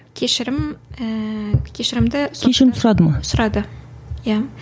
кешірім ііі кешірімді кешірім сұрады ма сұрады иә